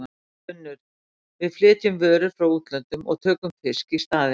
UNNUR: Við flytjum vörur frá útlöndum og tökum fisk í staðinn.